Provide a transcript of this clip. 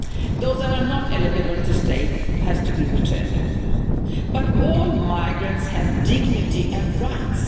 Those that are not eligible to stay have to be returned, but all migrants have dignity and rights.